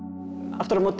aftur á móti